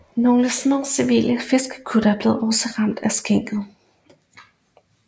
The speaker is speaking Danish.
Nogle små civile fiskekuttere blev også ramt og sænket